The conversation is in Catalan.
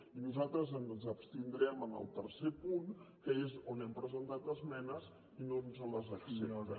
i nosaltres ens abstindrem en el tercer punt que és on hem presentat esmenes i no ens les accepten